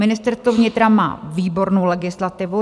Ministerstvo vnitra má výbornou legislativu.